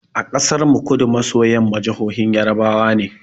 A ƙasar mu, Kudu maso yamma jahohin yarbawa ne.